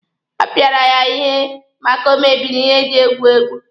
A pịara ya ihe maka o mebiri ihe eji egwu egwu.